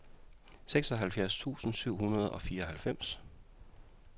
seksoghalvfjerds tusind syv hundrede og fireoghalvfems